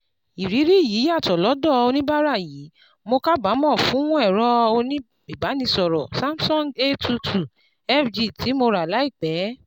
Ìrírí yìí yàtọ̀ lọ́dọ̀ oníbàárà yìí: "Mo kábàámọ̀ fún ẹ̀rọ ìbánisọ̀rọ̀ SAMSUNG A two two F G tí mo rà láìpẹ́